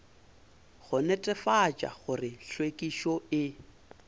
go netefatša gore hlwekišo e